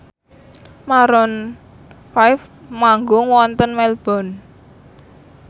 Maroon 5 manggung wonten Melbourne